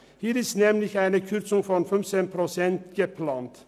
Für diese Gruppe ist nämlich eine Kürzung um 15 Prozent geplant.